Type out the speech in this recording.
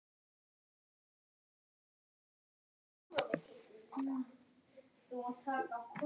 Karin, hækkaðu í hátalaranum.